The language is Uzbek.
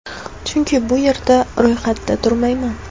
Chunki bu yerda ro‘yxatda turmayman.